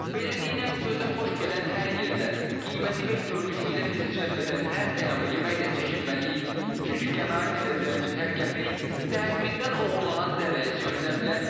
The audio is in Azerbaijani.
Beləliklə, gözə xoş gələn hər yerdə, qiyməti və görünüşü ilə bizi cəlb edən hər təmı yeməkdən çəkinməliyik, çünki qənaət edəcəyimiz hər qəpik sağlamlığımızdan oğurlanan zərrəyə çevrilə bilər.